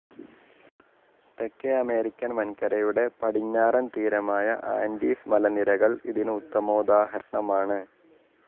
തേക്കേ American വൻകരയുടെ പടിഞ്ഞാറൻ തീരമായ ആൻഡീസ് മലനിരകൾ ഇതിന്‌ ഉത്തമോദാഹരണമാണ്‌